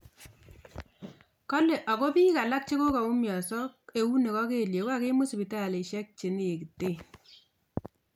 Kole Argo bik alak che kokaumianso keunek ak kelyek kokakimut sipitalisiek che nekiten.